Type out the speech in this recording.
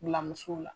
Bila musow la